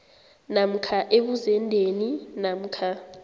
namkha ebuzendeni namkha